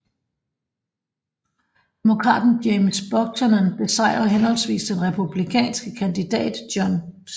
Demokraten James Buchanan besejre henholdsvis den republikanske kandidat John C